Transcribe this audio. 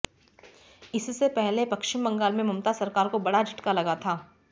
इससे पहले पश्चिम बंगाल में ममता सरकार को बड़ा झटका लगा था